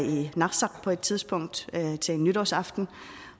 på et tidspunkt i narsaq til nytårsaften